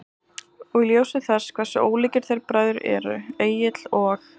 Og í ljósi þess hversu ólíkir þeir bræður eru, Egill og